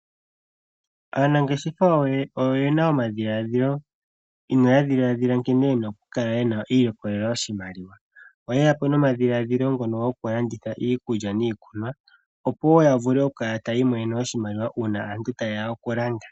Aanangeshefa oyena omadhiladhilo uuna ya dhiladhila nkene yena okukala yena okwiilikolela oshimaliwa. Oyeya po nomadhiladhilo ngono gokulanditha iikulya niikunwa opo wo yavule okukala taya ilikolele oshimaliwa uuna aantu ta yeya okulanda.